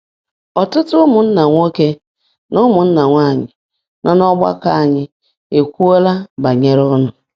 Ọtụtụ ụmụnna nwoke na ụmụnna nwanyị nọ n’ọgbakọ anyị ekwuola banyere ụnụ.